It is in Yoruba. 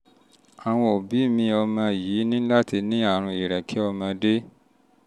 àwọn òbí mi ọmọ yín ní láti ní àrùn ìrẹ̀kẹ́ ọmọdé